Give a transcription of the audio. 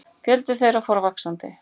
Fjöldi þeirra fór vaxandi.